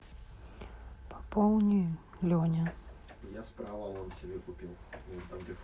пополни леня